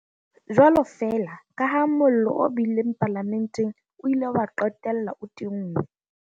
Jwalo feela kaha mollo o bileng palamenteng o ile wa qetella o tinngwe.